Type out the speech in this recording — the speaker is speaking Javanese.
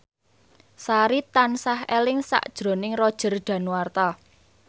Sari tansah eling sakjroning Roger Danuarta